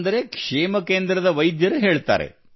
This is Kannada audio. ಅಂದರೆ ಕ್ಷೇಮ ಕೇಂದ್ರದ ವೈದ್ಯರು ಹೇಳುತ್ತಾರೆ